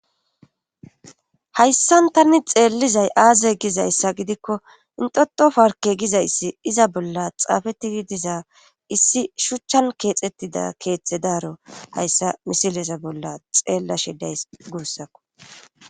Hayssan tani xeellizay aaze gizayssa gidikko intoto farke gizayssi iza bolla xaafettii diza issi shuchchan keexettida keeththe daaro hayssa misilesa bolla xeella shidays guussakko.